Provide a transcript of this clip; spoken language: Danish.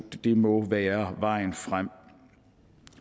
det må være vejen frem